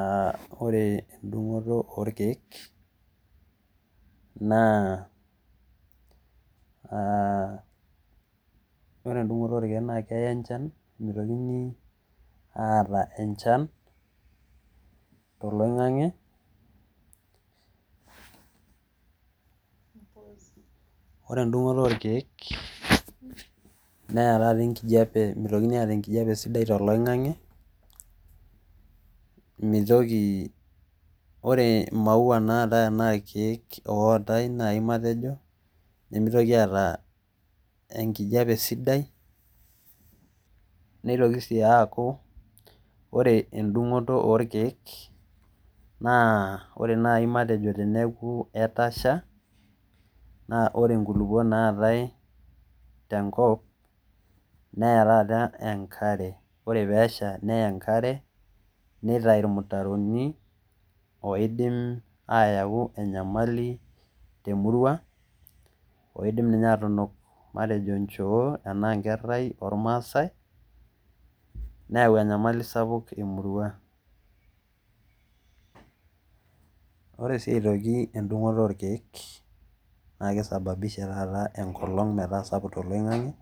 Aa ore endungoto orkiek naa , ore endungoto orkiek naa keya enchan mitokini aata enchan toloingange. Ore endungoto orkiek neya taata enkijape mitokitni aata enkijape sidai toloingange , mitoki ore imaua naatae anaa irkiek ootae nai matejoi nemitoki aata enkijape sidai neitoki sii aaku ore endungoto orkiek naa ore naji matejo teneku etasha naa ore nkuluok naatae tenkop neya taata enkare , ore pesha neya enkare , nitayu irmutaron oidim ayau enyamali temurua oidim ninye atunuk matejo nchoo ashu intare ormaasae neyau enyamali sapuk emurua. Ore sii aitoki endungoto naa kisababisha taata enkolong metaa sapuk toloingange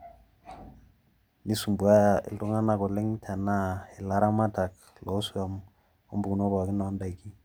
nisumbauaya ilamatak anaa ilamatak lompukunot loswam pookin.